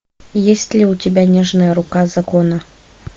есть ли у тебя нежная рука закона